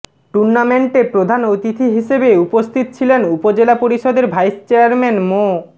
টুর্নামেন্টে প্রধান অতিথি হিসেবে উপস্থিত ছিলেন উপজেলা পরিষদের ভাইস চেয়ারম্যান মো